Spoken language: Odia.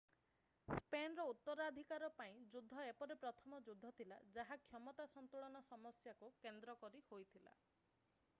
ସ୍ପେନର ଉତ୍ତରାଧିକାର ପାଇଁ ଯୁଦ୍ଧ ଏପରି ପ୍ରଥମ ଯୁଦ୍ଧ ଥିଲା ଯାହା କ୍ଷମତା ସନ୍ତୁଳନ ସମସ୍ୟାକୁ କେନ୍ଦ୍ର କରି ହୋଇଥିଲା